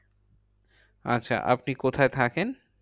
আচ্ছা আপনি কোথায় থাকেন?